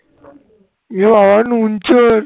এ বাবা নুন চোর